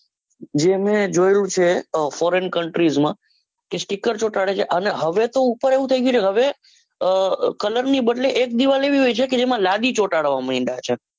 જે મેં જોયું છે foreign countries માં કે sticker ચોંટાડે છે. અને હવે તો ઉપર એવું થઇ ગયું છે હવે colour ની જગ્યા એ એકજેવા લાદી ચોંટાડવામાં માંડ્યા છે.